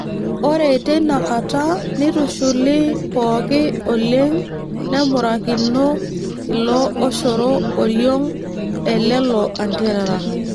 Ore teina kata neitushuli pooki oleng nemurakino ilo oshoro oriong' elelo anterera.